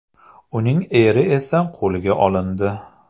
Uning eri esa qo‘lga olindi.